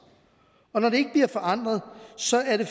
og når det ikke bliver forandret så er det